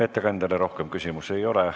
Ettekandjale rohkem küsimusi ei ole.